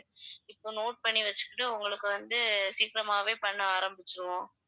இப்ப note பண்ணி வெச்சுகிட்டு உங்களுக்கு வந்து சீக்கிரமாவே பண்ண ஆரம்பிச்சிடுவோம்